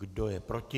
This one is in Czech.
Kdo je proti?